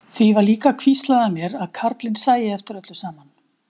Því var líka hvíslað að mér að karlinn sæi eftir öllu saman.